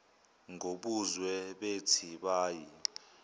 ngobuzwe bethi bayi